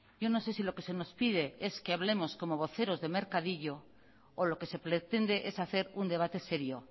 yo no sé si lo que se nos pide es que hablemos como voceros de mercadillo o lo que se pretende es hacer un debate serio